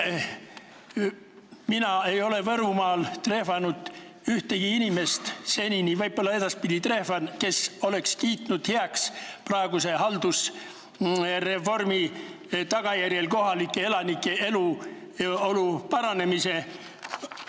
Mina ei ole Võrumaal trehvanud ühtegi inimest senini – võib-olla edaspidi trehvan –, kes oleks kiitnud heaks praeguse haldusreformi tagajärjel toimunud kohalike elanike eluolu muutumise.